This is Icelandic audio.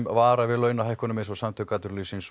vara við launahækkunum eins og samtök atvinnulífsins